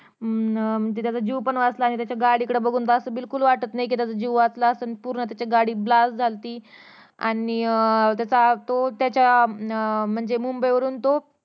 अं त्याचा जीव पण वाचला अं त्याच्या गाडीकडे बघून बिल्कुल असं वाटत नाही कि त्याचा जीव वाचला असन पूर्ण त्याची गाडी blast झाली ती आणि अं त्याचा तो त्याच्या अं म्हणजे मुंबई वरून तो